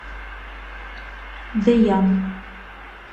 дэян